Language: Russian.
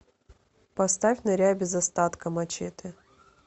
поставь ныряй без остатка мачете